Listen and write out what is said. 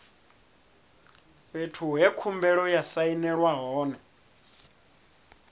fhethu he khumbelo ya sainelwa hone